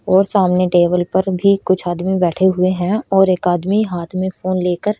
और सामने टेबल पर भी कुछ आदमी बैठे हुए है और एक आदमी हाथ में फोन लेकर--